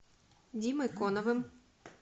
димой конновым